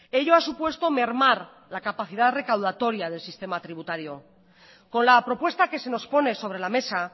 ello ha supuesto mermar la capacidad recaudatoria del sistema tributario con la propuesta que se nos pone sobre la mesa